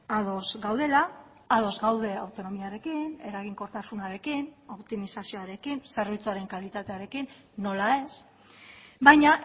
ados gaudela ados gaude autonomiarekin eraginkortasunarekin optimizazioarekin zerbitzuaren kalitatearekin nola ez baina